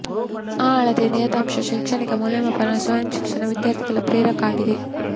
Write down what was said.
ಆ ಅಳತೆ ನಿಯತಾಂಕ ಶೈಕ್ಷಣಿಕ ಮೌಲ್ಯಮಾಪನ ಸ್ವಯಂ ಶಿಕ್ಷಣ ವಿದ್ಯಾರ್ಥಿಗಳ ಪ್ರೇರಕ ಆಗಿದೆ